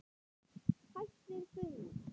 Hætt við fund?